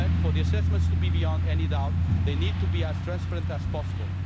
But for the assessments to be beyond any doubt, they need to be as transparent as possible.